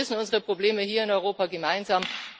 Ja, wir lösen unsere Probleme hier in Europa gemeinsam!